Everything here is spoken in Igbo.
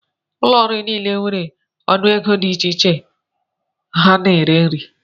Ụlọ nri niile nwere ọnụego dị iche iche ha na-ere nri ha.